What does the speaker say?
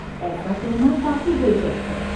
ایسا کہنا کافی دلچسپ ہے۔